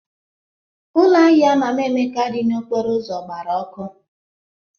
Ụlọ ahịa Mama Emeka dị n'okporo ụzọ gbara ọkụ.